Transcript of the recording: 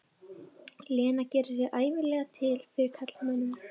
Lena gerir sig ævinlega til fyrir karlmönnum.